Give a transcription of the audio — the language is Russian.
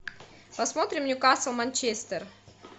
посмотрим ньюкасл манчестер